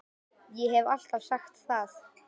Ég hef alltaf sagt það.